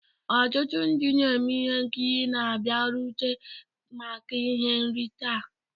Ọtụtụ ndị na-eme ihe nkiri na-abịarute maka ihe nrite a.